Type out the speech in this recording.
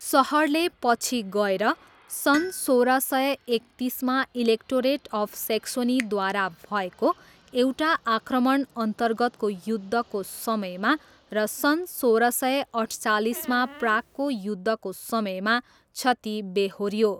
सहरले पछि गएर सन् सोह्र सय एकतिसमा इलेक्टोरेट अफ सेक्सोनीद्वारा भएको एउटा आक्रमणअन्तर्गतको युद्धको समयमा र सन् सोह्र सय अठचालिसमा प्रागको युद्धको समयमा क्षति बेहोऱ्यो।